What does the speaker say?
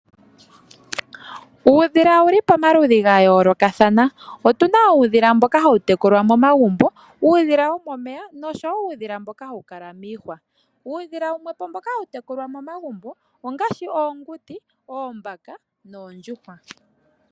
Uudhila owuli pomaludhi ga yoolokathana otuna uudhila mboka hawu tekulwa momagumbo, uudhila womomeya nosho wo uudhila mboka hawu kala miihwa. Uudhila wumwe po mboka hawu tekulwa momagumbo ongaashi: oonguti, oombaka noondjuhwa.